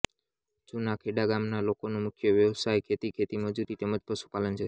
જુના ખેડા ગામના લોકોનો મુખ્ય વ્યવસાય ખેતી ખેતમજૂરી તેમ જ પશુપાલન છે